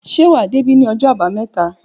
Ṣé wà dé bi ni ọjọ àbàámẹ̀tá?